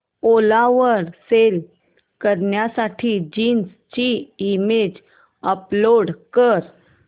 ओला वर सेल करण्यासाठी जीन्स ची इमेज अपलोड कर